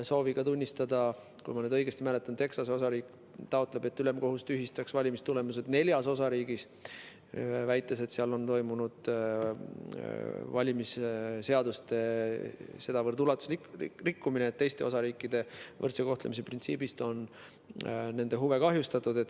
Kui ma õigesti mäletan, siis Texase osariik taotleb, et ülemkohus tühistaks valimistulemused neljas osariigis, väites, et seal on toimunud valimisseaduste sedavõrd ulatuslik rikkumine, et teiste osariikide võrdse kohtlemise printsiibist lähtudes on nende huve kahjustatud.